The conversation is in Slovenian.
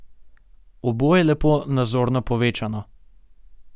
Oboje lepo nazorno povečano.